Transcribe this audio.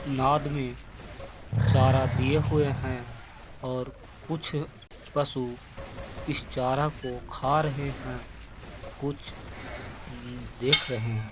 नाद में चारा दिये हुएं हैं और कुछ पशु इस चारा को खा रहें हैं कुछ उम्म- देख रहे हैं।